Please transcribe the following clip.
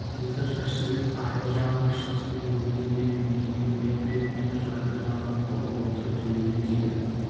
екі жас жігіт арғы жағаға шығысымен өгіз бен биені қоя берді де жарды жағалап бұғып отырып төмендеп кетіп